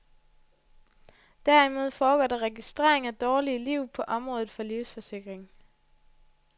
Derimod foregår der registrering af dårlige liv på området for livsforsikring.